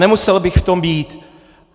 Nemusel bych v tom být.